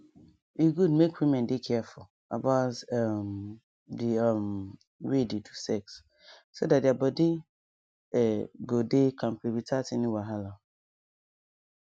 e good make women dey careful about um the um way they do sex so that their body um go dey kampe without any wahala